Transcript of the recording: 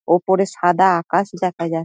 ওপরে সাদা আকাশ দেখা যা--